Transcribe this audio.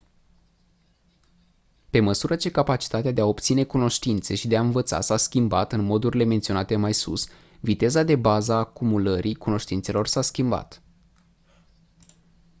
pe măsură ce capacitatea de a obține cunoștințe și de a învăța s-a schimbat în modurile menționate mai sus viteza de bază a acumurării cunoștințelor s-a schimbat